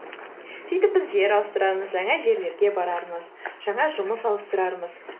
сөйтіп біз жер ауыстырармыз жаңа жерлерге барармыз жаңа жұмыс ауыстырармыз